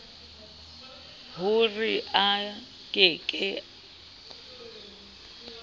ho re a ke ke